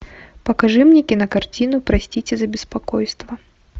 покажи мне кинокартину простите за беспокойство